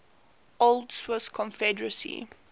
old swiss confederacy